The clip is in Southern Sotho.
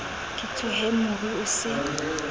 ke tshohe moru o se